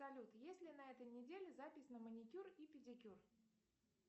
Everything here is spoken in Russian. салют есть ли на этой неделе запись на маникюр и педикюр